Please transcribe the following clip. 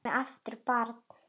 Ég sé mig aftur barn.